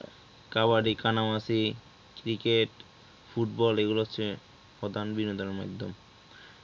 কবাডি কানামাছি cricket football এগুলা হচ্ছে প্রধান বিনোদনের মাধ্যম.